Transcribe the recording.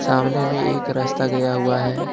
सामने में एक रास्ता गया हुआ है।